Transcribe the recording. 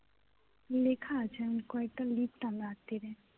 লেখা আছে আমি কয়েকটা লিখতাম রাত্তিরে